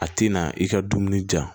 A tɛna i ka dumuni ja